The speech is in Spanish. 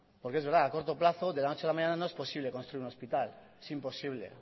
porque es verdad a corto plazo de la noche a la mañana no es posible construir un hospital es imposible